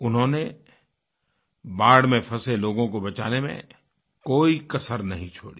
उन्होंने बाढ़ में फँसेलोगों को बचाने में कोई कसर नहीं छोड़ी